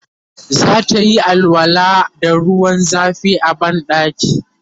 zatayi alwala da ruwan zafi a banɗaki